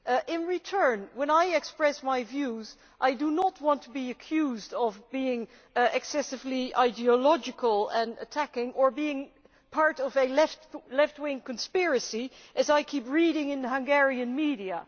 In return, when I express my views, I do not want to be accused of being excessively ideological and attacking, or being part of a left wing conspiracy, as I keep reading in the Hungarian media.